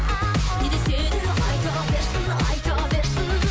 не десе де айта берсін айта берсін